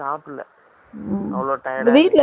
உங்க வீட்ல எதும் கேட்கலயா